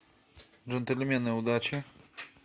джентльмены удачи